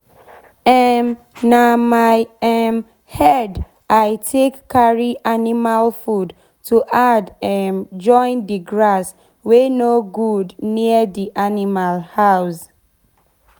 um na my um head i take carry animal food to add um join d grass wey nor good near d animal house.